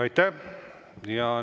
Aitäh!